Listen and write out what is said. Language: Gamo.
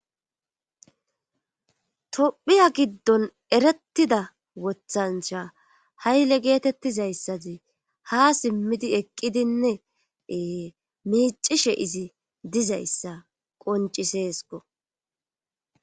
tophiya giddon erettida wothancha hayle geetettizayssadi ha simmidi eqqidinnee miicishe izi dizayssa qonciseesko